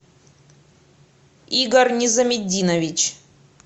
игорь низаметдинович